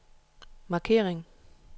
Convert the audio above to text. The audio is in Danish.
markering